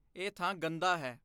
ਇਹ ਥਾਂ ਗੰਦਾ ਹੈ।